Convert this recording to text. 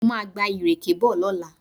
Mo máa gba ìrèké bọ̀ lọ́la